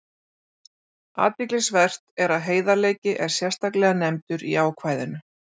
Athyglisvert er að heiðarleiki er sérstaklega nefndur í ákvæðinu.